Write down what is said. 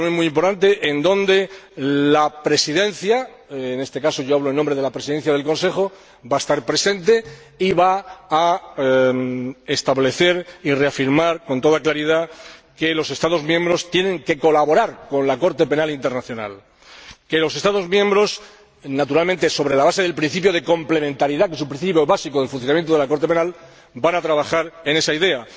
Es una reunión muy importante en la que la Presidencia —en este caso, yo hablo en nombre de la Presidencia en ejercicio del Consejo— va a estar presente y va a establecer y reafirmar con toda claridad que los Estados miembros tienen que colaborar con la Corte Penal Internacional, que los Estados miembros, naturalmente sobre la base del principio de complementariedad, que es un principio básico del funcionamiento de la Corte Penal, van a trabajar en esa línea.